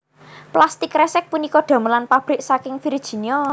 Plastik kresek punika damelan pabrik saking Virginia